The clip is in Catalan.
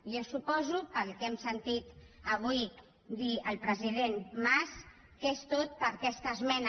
jo suposo pel que hem sentit avui dir al president mas que és tot per aquesta esmena